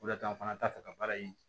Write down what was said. O de la an fana t'a fɛ ka baara in